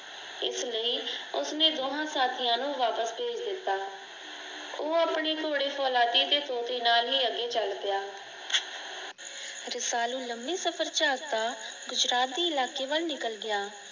ਇਸ ਲਈ ਉਸਨੇ ਦੋਹਾਂ ਸਾਥੀਆਂ ਨੂੰ ਵਾਪਸ ਭੇਜ ਦਿੱਤਾ ਉਹ ਆਪਨੇ ਘੋੜੇ ਫ਼ੌਲਾਦੀ ਤੇ ਤੋਤੇ ਨਾਲ ਹੀ ਅੱਗੇ ਚਲ ਪਿਆ ਰਸਾਲੂ ਲਮੇ ਸਫ਼ਰ ਚ ਆਪ ਤਾਂ ਗੁਜਰਾਤੀ ਇਲਾਕੇ ਵੱਲ ਨਿਕਲ ਗਿਆ